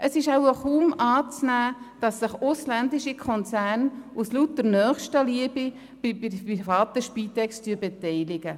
Es ist wohl kaum anzunehmen, dass sich ausländische Konzerne aus lauter Nächstenliebe bei der privaten Spitex beteiligen.